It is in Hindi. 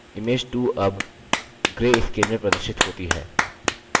image 2 अब greyscale में प्रदर्शित होती है